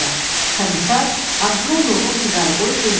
Komisar ağzına yoğun siqarı qoyub dilləndi.